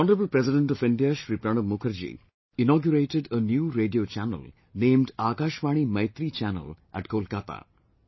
The Honourable President of India Shri Pranab Mukherjee inaugurated a new radio channel named 'Akashvani Maitree Channel' at Kolkata